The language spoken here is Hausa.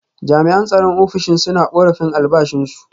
Jami’an tsaron ofishin suna korafin albashinsu.